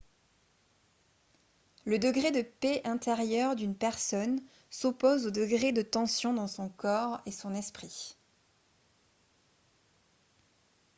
le degré de paix intérieure d'une personne s'oppose au degré de tension dans son corps et son esprit